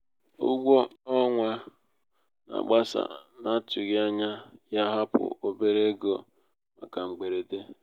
ụgwọ ọnwa ọnwa na-agbasa n'atụghị ányá ya hapụ obere ego màkà mgberede.